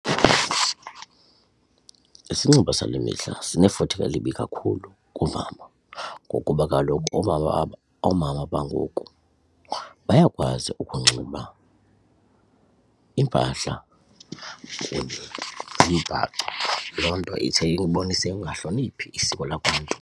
Isinxibo sale mihla sinefuthe elibi kakhulu koomama ngokuba kaloku oomama oomama bangoku bayakwazi ukunxiba iimpahla kunye nemimbhaco. Loo nto ithi ibonise ukungahloniphi isiko lakwaNtu.